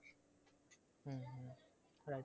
হম Right